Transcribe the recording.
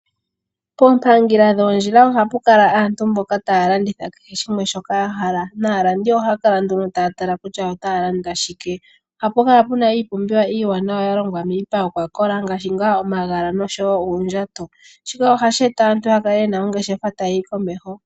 Koompangela dhoondjila oha pu kala aantu mboka taa landitha keshe shimwe shoka ya hala. Naalandi oha kala nduno taa tala kutya otaa landa shike. Oha pu kala iipumbiwa yalongwa miipa yokwakola ngashi ngaa omagala noshowo uundjato. Shika ohashi eta aantu yakale ye na ongeshefa tayi yi komeho.